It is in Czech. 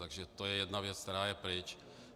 Takže to je jedna věc, která je pryč.